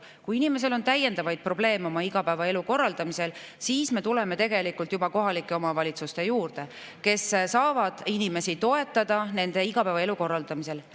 Kui inimesel on täiendavaid probleeme igapäevaelu korraldamisel, siis me juba kohalike omavalitsuste juurde, kes saavad inimesi toetada igapäevaelu korraldamisel.